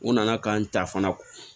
N nana ka n ta fana